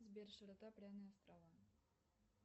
сбер широта пряные острова